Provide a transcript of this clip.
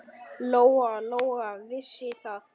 Lóa-Lóa vissi það.